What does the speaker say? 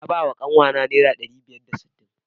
Na bawa kanwata naira ɗari biyar da sittin.